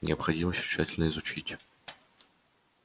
необходимо всё тщательно изучить